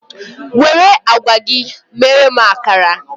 Were agwa gị mere m akara!